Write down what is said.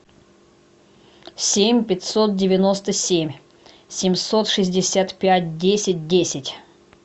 семь пятьсот девяносто семь семьсот шестьдесят пять десять десять